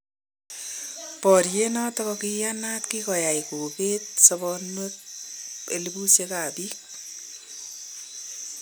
Baryeet noton koiyanaat kokoyai kobeet soboonweek elibusyeek ab biik.